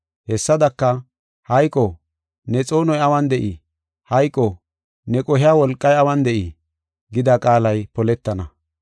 Hessadaka, “Hayqo, ne xoonoy awun de7ii? Hayqo, ne qohiya wolqay awun de7ii?” gida qaalay poletana.